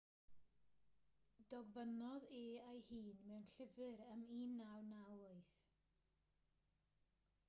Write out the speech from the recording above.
dogfennodd e ei hun mewn llyfr ym 1998